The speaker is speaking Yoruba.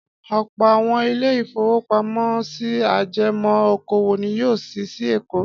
Ọ̀pọ̀ àwọn ilé-ìfowópamọ́sí ajẹmọ́ okòwò ni yóò ṣí sí Èkó.